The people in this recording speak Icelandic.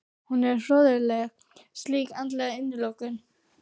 Hún er hroðaleg slík andleg innilokun.